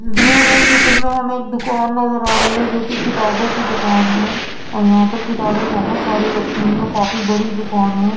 दिए गए चित्र में हमें एक दुकान नजर आ रही है जोकि किताबों की दुकान है और यहाँ पर किताबें बहुत सारी रखी हुई है काफी बड़ी दुकान है।